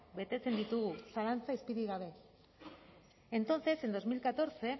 betetzen ditugu zalantza izpirik gabe entonces en dos mil catorce